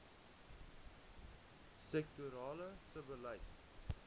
sektorale sebbeleid